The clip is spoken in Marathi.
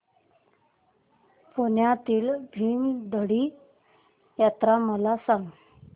पुण्यातील भीमथडी जत्रा मला सांग